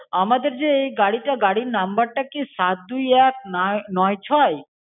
আমাদের যে এই গাড়িটা গাড়ির নাম্বারটা কি সাত দুই এক ন নয় ছয়?